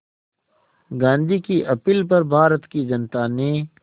गांधी की अपील पर भारत की जनता ने